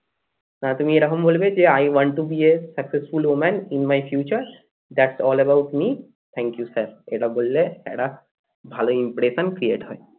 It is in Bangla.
তুমি এরকম বলবে যে I want to be a successful women in my future that's all about me thank you sir এটা বললে একটা ভালো impression create হয়